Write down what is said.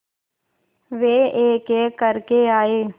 वे एकएक करके आए